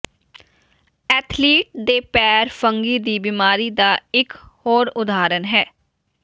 athlete ਦੇ ਪੈਰ fungi ਦੀ ਬਿਮਾਰੀ ਦਾ ਇੱਕ ਹੋਰ ਉਦਾਹਰਨ ਹੈ